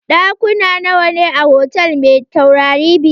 Ɗakuna nawa ne a hotal mai taurari biyar?